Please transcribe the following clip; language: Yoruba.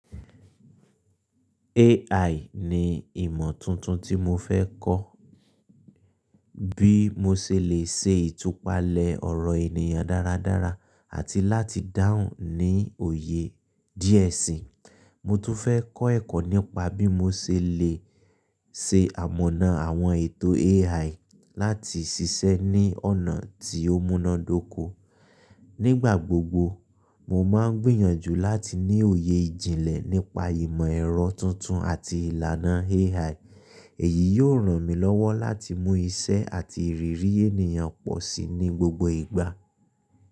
AI ni ìmọ̀ tuntun tí mo fẹ́ kọ́, bí mo ṣe lè ṣe ìtúpalẹ̀ ọ̀rọ̀ ènìyàn dáradára àti láti dáhùn ní òye díẹ̀ sí i. Mo tún fẹ́ kọ́ ẹ̀kọ́ nípa bí mo ṣe lè ṣe àmọnà àwọn ètò AI láti ṣiṣẹ́ ní ọ̀nà tí ó múná dóko. Nígbà gbogbo, mo máa ń gbìyànjú láti ní òye ìjìnlẹ̀ nípa ìmọ̀ ẹ̀rọ tuntun àti ìlànà AI. Èyí yóò ràn mí lọ́wọ́ láti mú iṣẹ́ àti ìrírí ènìyàn pọ̀ sí i ní gbogbo ìgbà.